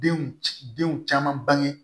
Denw ci denw caman bange